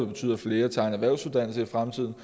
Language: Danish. betyde at flere tager en erhvervsuddannelse i fremtiden